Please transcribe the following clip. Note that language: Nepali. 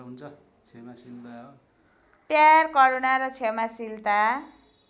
प्यार करूणा र क्षमाशीलता